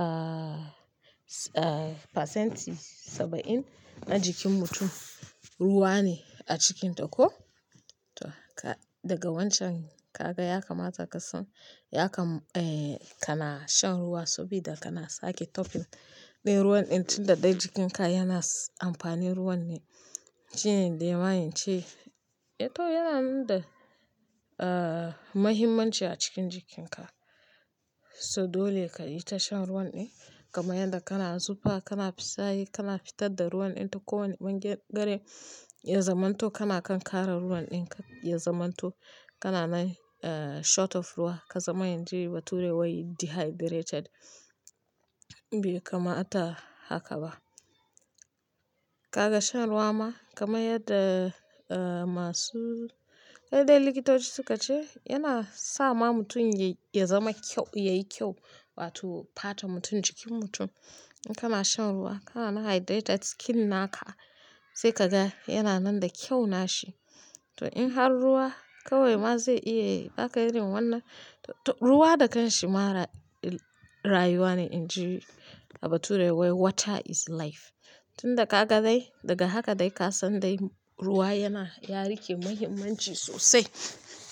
aah, aah fasenti saba'in na jikin mutum ruwa ne a cikinta ko. To ka, daga wancan ka ga ya kamata ka san, ya kam-- eeh kana shan ruwa sabida kana sake tofin ɗin ruwan ɗin tunda dai jikinka yana amfani ruwan ne. Shine dai mahayin ce. To yana nan da aah muhimmanci a cikin jikinka. So dole ka yi ta shan ruwan ɗin. Gama yadda kana zufa, kana fitsari, kana fitar da ruwan ɗin to kowane wanne gare, ya zamanto kana kan kara ruwan ɗin ka. Ya zamanto kana nai aah short of ruwa. Ka zama yin ji ba ture wai dehydrated. Bai kamata haka ba. Kaga shan ruwa ma kama yadda aah masu, kai dai likitoci suka ce yana sa ma mutum ya-ya zama kyau, ya yi kyau. Wato fata mutum jikin mutum. In kana shan ruwa kana hydrate jikin naka. Sai ka ga yana nan da kyau nashi. To in har ruwa kawai ma zai iya irin wannan to, to ruwa da kanshi ma ra-rayuwa ne. In ji a bature wai "water is life." Tunda ka ga dai daga haka dai ka san dai ruwa yana, ya rike muhimmanci sosai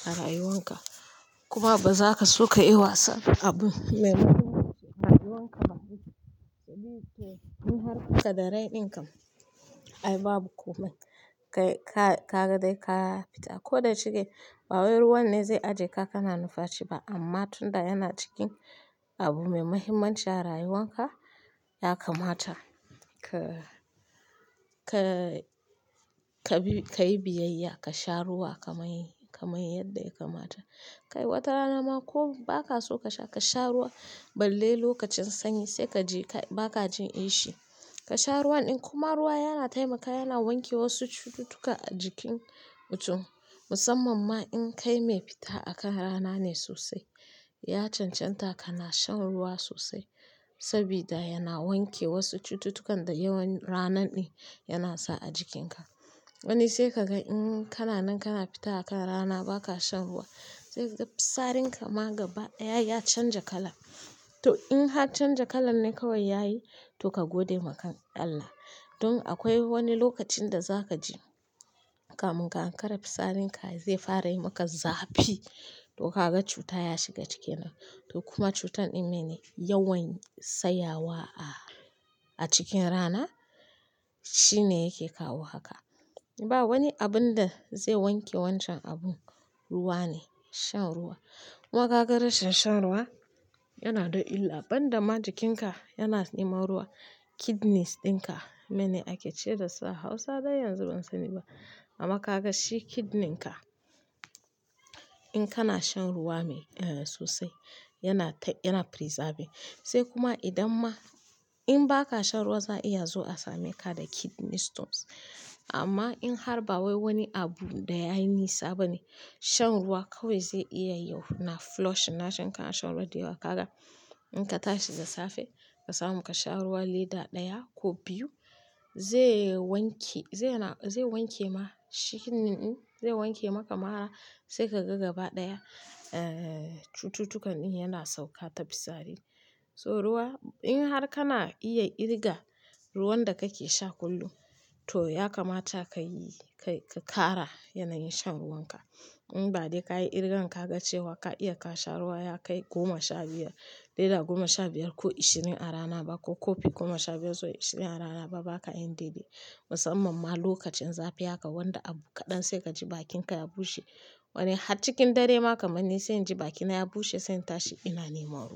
a rayuwanka. Kuma ba za ka so ka yi wasan abu me muhimmanci a rayuwanka ba. To, in har ka da rai ɗin ka, ai babu komai. Kai ka, ka ga dai ka fita. Ko da cike ba wai ruwan ne zai ajje ka kana numfashi ba. Amma tunda yana cikin abu me muhimmanci a rayuwanka, ya kamata ka, ka, ka bi, ka yi biyayya, ka sha ruwa. Ka mai, ka mai yadda ya kamata. Kai wata rana ma ko ba ka so ka sha, ka sha ruwa. Balle lokacin sanyi. Sai ka je ka, ba kajin ishi. Ka sha ruwan ɗin. Kuma ruwa yana taimakawa, yana wanke wasu cututtuka a jikin mutum. Musamman ma in kai mai fita a kan rana ne sosai. Ya cancanta kana shan ruwa sosai sabida yana wanke wasu cututtukan da yawan rana ɗin yana sa a jikinka. Wani sai ka ga in kana nan kana fita a kan rana ba ka shan ruwa. Sai ka ga fitsarin ka ma gaba ɗaya ya canja kala. To in har canja kala ne kawai ya yi, to ka gode wa kan Allah. Dun akwai wani lokacin da za ka ji kamun ka an kara fitsarin ka zai fara yi maka zafi. To kaga cuta yashiga kenan to kuma cutan ɗin mene? Yawan tsayawa a, a cikin rana shine yake kawo haka. Ba wani abun da zai wanke wancan abu. Ruwa ne. Shan ruwa. Kuma ka ga rashin shan ruwa yana da illa. Ban da ma jikinka yana neman ruwa. Kidnis ɗin ka. Mene ake ce da sa? Hausa dai yanzu ban sani ba. Amma ka ga shi kidnin ka in kana shan ruwa mai eeh sosai yana ta, yana preserve. Sai kuma idan ma in ba ka shan ruwa za a iya zuwa a same ka da kidneys stones. Amma in har ba wai wani abu da ya yi nisa bane, shan ruwa kawai zai iya yau na flush. Na shan, ka shan ruwa dayawa. Kaga in ka tashi da safe ka samu ka sha ruwa lita ɗaya ko biyu. Zai wanke, zai na, zai wanke ma shi kidnin. Zai wanke maka mara. Sai ka ga gaba ɗaya aah cututtukan ɗin yana sauka ta fitsari. So ruwa in har kana iya kirga ruwan da kake sha kullum to ya kamata ka yi, ka yi, ka kara yanayin shan ruwan ka. In ba dai ka yi irgan ka ga cewa ka iya ka sha ruwa ya kai goma sha biyar, lita goma sha biyar ko ashirin a rana ba ko kofi goma sha biyar zuwa ashirin a rana ba, ba ka yin daidai. Musamman ma lokacin zafi haka wanda abu kaɗan sai ka ji bakin ka ya bushe. Wani har cikin dare ma kamar ni sai jin bakina ya bushe, sai tashi ina neman ruwa.